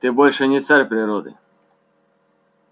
ты больше не царь природы